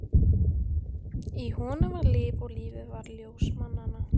Í honum var líf, og lífið var ljós mannanna.